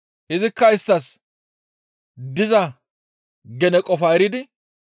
Izikka isttas diza gene qofaa eridi,